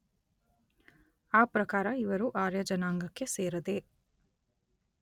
ಆ ಪ್ರಕಾರ ಇವರು ಆರ್ಯಜನಾಂಗಕ್ಕೆ ಸೇರದೆ